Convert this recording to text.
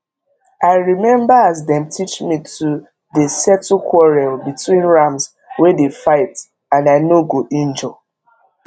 i remember as dem teach me to dey settle quarrel between rams wey dey fight and i no go injure